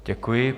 Děkuji.